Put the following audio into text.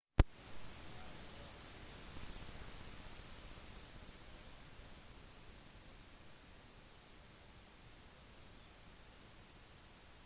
i løpet av disse periodene var det voldsom krigføring mellom mange konger som slåss om tronen